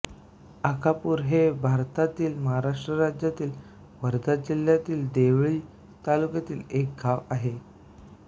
अकापूर हे भारतातील महाराष्ट्र राज्यातील वर्धा जिल्ह्यातील देवळी तालुक्यातील एक गाव आहे